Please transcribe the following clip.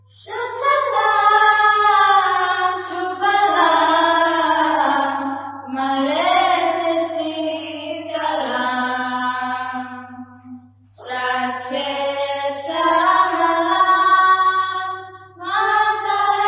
Instrumental + Vocal VandeMatram